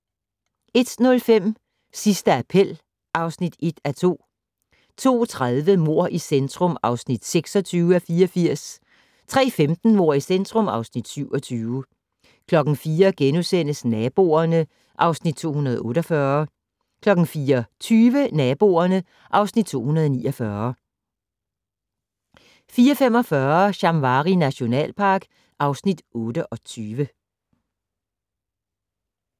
01:05: Sidste appel (1:2) 02:30: Mord i centrum (26:84) 03:15: Mord i centrum (27:84) 04:00: Naboerne (Afs. 248)* 04:20: Naboerne (Afs. 249) 04:45: Shamwari nationalpark (Afs. 28)